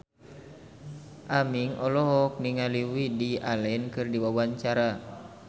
Aming olohok ningali Woody Allen keur diwawancara